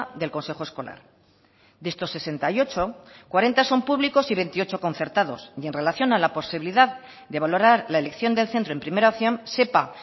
del consejo escolar de estos sesenta y ocho cuarenta son públicos y veintiocho concertados y en relación a la posibilidad de valorar la elección del centro en primera opción sepa